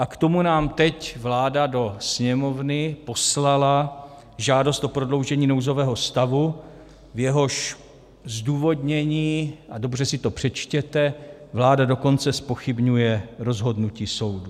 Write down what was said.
A k tomu nám teď vláda do Sněmovny poslala žádost o prodloužení nouzového stavu, v jehož zdůvodnění - a dobře si to přečtěte - vláda dokonce zpochybňuje rozhodnutí soudu.